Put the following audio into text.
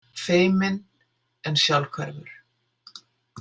Feiminn en sjálfhverfur.